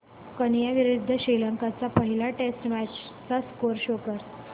Kenya विरुद्ध श्रीलंका च्या पहिल्या टेस्ट मॅच चा स्कोअर शो कर